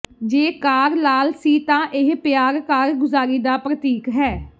ਜੇ ਕਾਰ ਲਾਲ ਸੀ ਤਾਂ ਇਹ ਪਿਆਰ ਕਾਰਗੁਜ਼ਾਰੀ ਦਾ ਪ੍ਰਤੀਕ ਹੈ